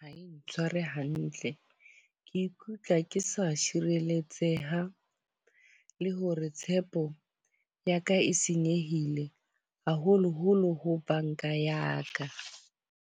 Ha e ntshware hantle. Ke ikutlwa ke sa sireletseha le hore tshepo ya ka e senyehile. Haholo-holo ho banka ya ka.